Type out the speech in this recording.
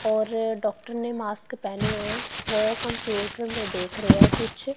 और डॉक्टर ने मास्क पहने हुए हैं वो कंप्यूटर में देख रहे हैं कुछ।